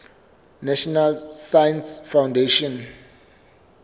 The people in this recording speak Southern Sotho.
national science foundation